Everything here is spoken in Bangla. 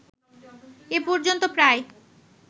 এ পর্যন্ত প্রায়